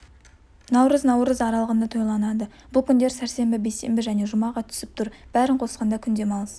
наурыз наурыз аралығында тойланады бұл күндер сәрсенбі бейсенбі және жұмаға түсіп тұр бәрін қосқанда күн демалыс